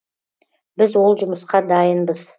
біз ол жұмысқа дайынбыз